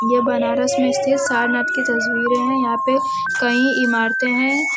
यह बनारस में स्थित सारनाथ की तस्वीर है। यहाँ पे कई इमारतें हैं।